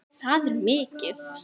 Það er mikið!